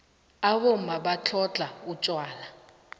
abomma batlhodlha utjwala